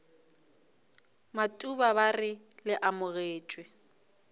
matuba ba re le amogetšwe